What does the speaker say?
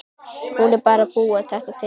Hún er bara að búa þetta til.